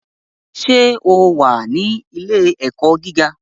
Ṣé o wà ní Ilé-ẹ̀kọ́ gíga?